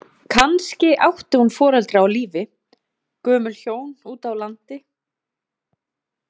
Kannski átti hún foreldra á lífi, gömul hjón úti á landi.